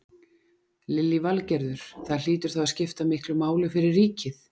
Lillý Valgerður: Það hlýtur þá að skipta miklu máli fyrir ríkið?